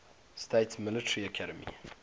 states military academy